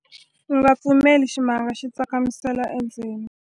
u nga pfumeleli ximanga xi tsakamisela endzeni